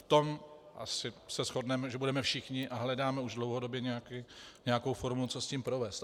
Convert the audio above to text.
V tom asi se shodneme, že budeme všichni - a hledáme už dlouhodobě nějakou formu, co s tím provést.